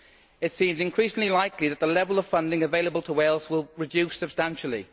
It seems increasingly likely that the level of funding available to Wales will reduce substantially.